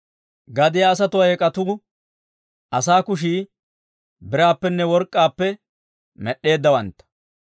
Gadiyaa asatuwaa eek'atuu asaa kushii biraappenne work'k'aappe med'd'eeddawantta.